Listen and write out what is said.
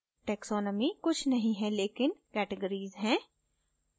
taxonomy कुछ नहीं है लेकिन categories है